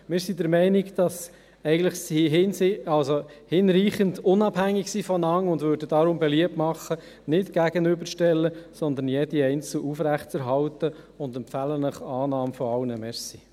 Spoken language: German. Wir sind der Meinung, dass diese hinreichend voneinander unabhängig sind, und machen deshalb beliebt, diese nicht einander gegenüberzustellen, sondern jede einzeln aufrechtzuerhalten, und empfehlen Ihnen die Annahme aller.